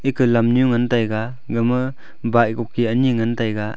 ekah lamnyu ngantaiga gama bike koki anyi ngantaiga.